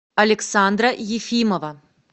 александра ефимова